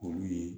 Olu ye